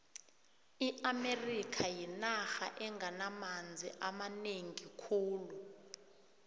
iamerika yinarha enamanzi amanengi khulu